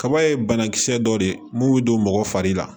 Kaba ye banakisɛ dɔ de ye mun bɛ don mɔgɔ fari la